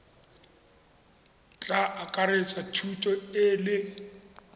tla akaretsa thuto e le